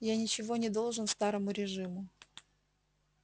я ничего не должен старому режиму